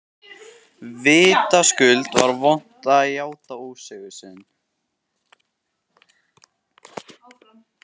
Vitaskuld var vont að játa ósigur sinn.